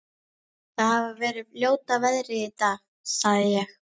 Það hefir verið ljóta veðrið í dag- sagði ég.